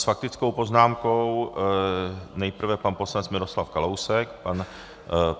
S faktickou poznámkou nejprve pan poslanec Miroslav Kalousek.